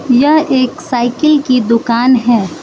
यह एक साइकिल की दुकान है।